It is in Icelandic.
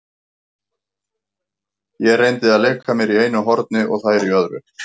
Ég reyndi að leika mér í einu horni og þær í öðru.